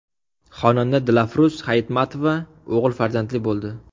Xonanda Dilafruz Hayitmatova o‘g‘il farzandli bo‘ldi.